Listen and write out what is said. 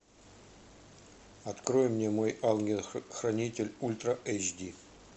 открой мне мой ангел хранитель ультра эйч ди